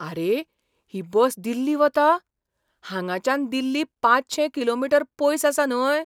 आरे! ही बस दिल्ली वता? हांगाच्यान दिल्ली पांचशे किलोमीटर पयस आसा न्हय ?